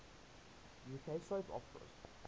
uk soap operas